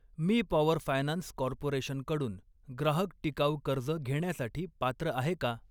मी power finance corporation कडून ग्राहक टिकाऊ कर्ज घेण्यासाठी पात्र आहे का?